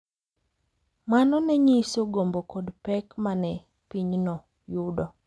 Mano ne nyiso gombo kod pek ma ne pinyno yudo.